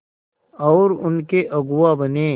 और उनके अगुआ बने